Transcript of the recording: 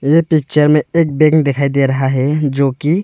ये पिक्चर में एक बैंक दिखाई दे रहा है जो की।